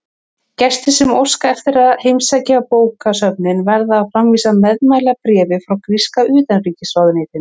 Gestir sem óska eftir að heimsækja bókasöfnin verða að framvísa meðmælabréfi frá gríska utanríkisráðuneytinu.